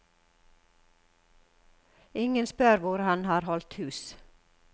Ingen spør hvor han har holdt hus.